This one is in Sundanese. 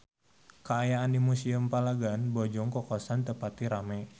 Kaayaan di Museum Palagan Bojong Kokosan teu pati rame